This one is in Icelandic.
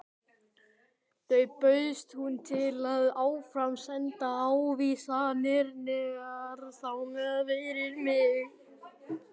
Þá bauðst hún til að áframsenda ávísanirnar þangað fyrir mig.